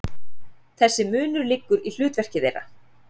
Þessi munur liggur í hlutverki þeirra.